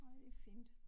Ej det fint